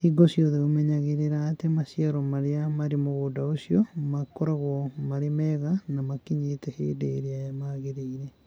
Hingo ciothe ũmenyagĩrĩra atĩ maciaro marĩa marĩ mũgũnda ũcio makoragwo marĩ mega na makinyĩte hĩndĩ ĩrĩa magĩrĩire.